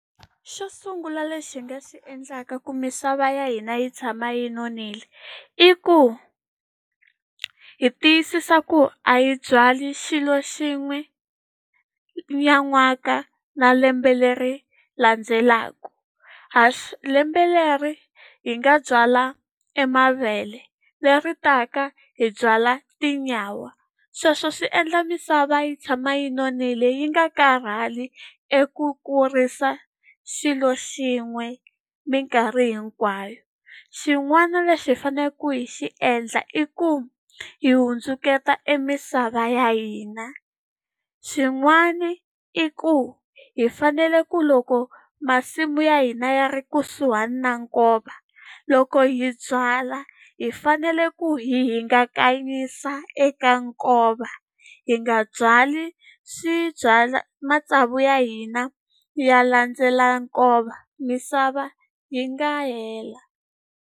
Xo sungula lexi hi nga xi endlaka ku misava ya hina yi tshama yi nonile i ku, hi tiyisisa ku a hi byali xilo xin'we nan'waka na lembe leri landzelaka. lembe leri hi nga byala e mavele leri taka hi byala tinyawa, sweswo swi endla misava yi tshama yi nonile yi nga karhali eku kurisa xilo xin'we minkarhi hinkwayo. Xin'wana lexi hi faneleke hi xi endla i ku, hi hundzuluxa e misava ya hina. Xin'wani i ku hi fanele ku loko masimu ya hina ya ri kusuhani na nkova, loko hi byala hi fanele ku hi hingakanyisa eka nkova, hi nga byali matsavu ya hina ya landzela nkova, misava yi nga hela.